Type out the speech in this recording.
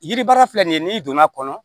Yiri baara filɛ nin ye n'i donn'a kɔnɔ